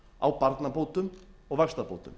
á barnabótum og vaxtabótum